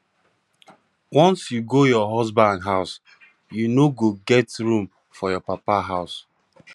once you go your husband house you no go get room for your papa house